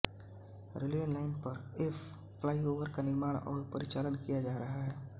railway line पर एक flyover का निर्माण और परिचालन किया जा रहा है